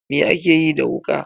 Me akeyi da wuka.